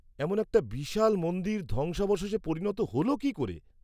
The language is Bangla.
-এমন একটা বিশাল মন্দির ধ্বংসাবশেষে পরিণত হল কী করে?